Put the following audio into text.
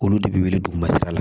Olu de bɛ wili duguma sira la